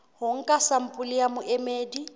ho nka sampole ya boemedi